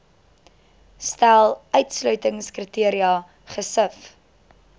stel uitsluitingskriteria gesif